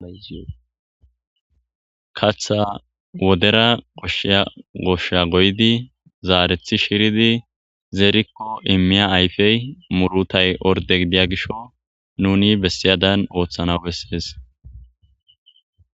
katha wodera koshsheya goshsha goydi zaarethi shiridi zeerikko immiya ayfey murutay orde gidiya gisho nuni bessiyadan ooththanawu bessees.